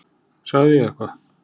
Sagði ég eitthvað?